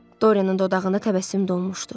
Doryanın dodağında təbəssüm donmuşdu.